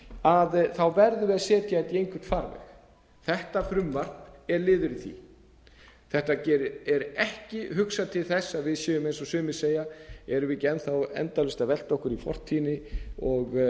að setja þetta í einhvern farveg þetta frumvarp er liður í því þetta er ekki hugsað til þess að við séum eins og sumir segja erum við ekki enn endalaust að velta okkur í fortíðinni og